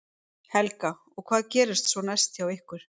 Helga: Og hvað gerist svo næst hjá ykkur?